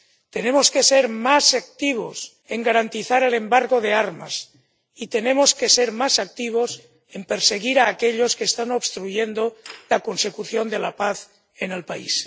Tenemos que ser más activos en garantizar el embargo de armas y tenemos que ser más activos en perseguir a aquellos que están obstruyendo la consecución de la paz en el país.